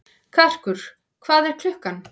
Karkur, hvað er klukkan?